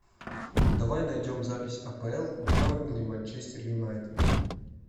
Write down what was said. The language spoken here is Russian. давай найдем запись апл бернли манчестер юнайтед